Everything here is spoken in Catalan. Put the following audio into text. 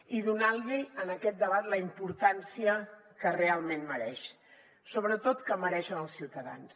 i donant li en aquest debat la importància que realment mereix sobretot que mereixen els ciutadans